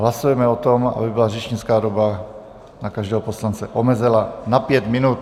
Hlasujeme o tom, aby byla řečnická doba na každého poslance omezena na pět minut.